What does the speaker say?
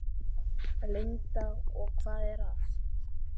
Linda: Og hvað er það?